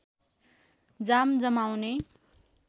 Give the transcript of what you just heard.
जाम जमाउने